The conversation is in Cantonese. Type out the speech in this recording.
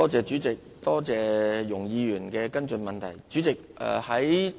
主席，多謝容議員的補充質詢。